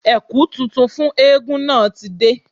Ẹ̀kú tuntun fún eégún náà ti dé